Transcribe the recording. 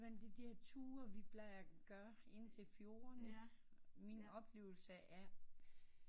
Jamen de der ture vi bla gør indtil fjordene min oplevelse af